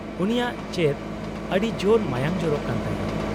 -ᱩᱱᱤᱭᱟᱜ ᱪᱮᱫ ᱟᱹᱰᱤᱡᱳᱨ ᱢᱟᱭᱟᱝ ᱡᱚᱨᱚᱜ ᱠᱟᱱ ᱛᱟᱭᱟ ?